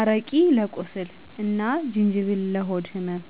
አረቂ ለቁስል አና ጅንጅብል ለሆድ ህመም።